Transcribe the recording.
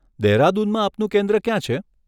દેહરાદૂનમાં આપનું કેન્દ્ર ક્યાં છે?